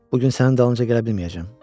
Bu gün sənin dalınca gələ bilməyəcəm.